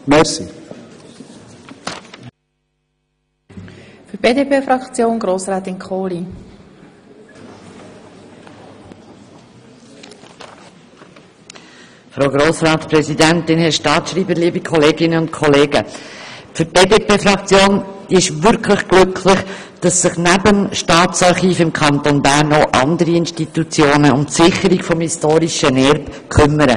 Für die BDP-Fraktion ist es wirklich ein Glück, dass sich nebst dem Staatsarchiv im Kanton Bern noch andere Institutionen um die Sicherung des historischen Erbes kümmern.